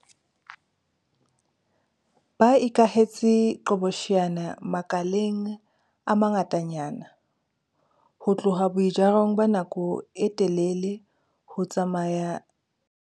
Ba ikahetse diqhobosheane makaleng a mangatanyana, ho tloha boijarong ba nako e telele ho tsamaya